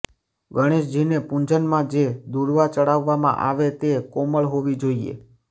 ગણેશજીને પૂજનમાં જે દૂર્વા ચઢાવવામાં આવે તે કોમળ હોવી જોઈએ